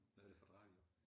Hvad er det for et radio